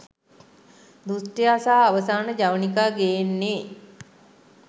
දුෂ්ටයා සහ අවසාන ජවනිකා ගේන්නේ